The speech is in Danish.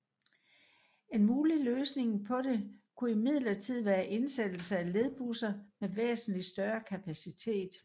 En mulig løsning på det kunne imidlertid være indsættelse af ledbusser med væsentlig større kapacitet